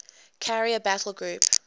carrier battle group